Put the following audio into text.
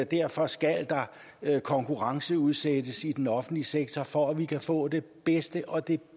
derfor skal der konkurrenceudsættes i den offentlige sektor for at vi kan få det bedste og det